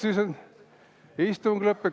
No vaat, istung on lõppenud.